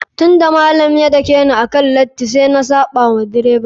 Tun da malam ya dakeni akan lati, sai na saɓa wa direba.